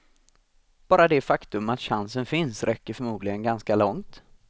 Bara det faktum att chansen finns räcker förmodligen ganska långt.